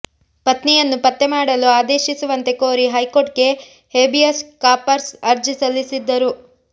ಪತ್ನಿಯನ್ನು ಪತ್ತೆ ಮಾಡಲು ಆದೇಶಿಸುವಂತೆ ಕೋರಿ ಹೈಕೋರ್ಟ್ಗೆ ಹೇಬಿಯಸ್ ಕಾರ್ಪಸ್ ಅರ್ಜಿ ಸಲ್ಲಿಸಿದ್ದರು